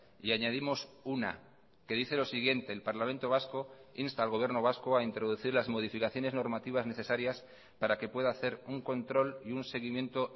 y añadimos una que dice lo siguiente el parlamento vasco insta al gobierno vasco a introducir las modificaciones normativas necesarias para que pueda hacer un control y un seguimiento